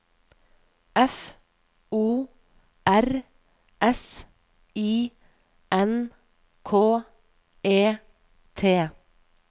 F O R S I N K E T